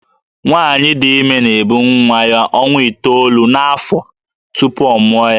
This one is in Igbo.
Nwaanyị dị ime na-ebu nwa ya ọnwa itoolu n’afọ tupu ọ mụọ ya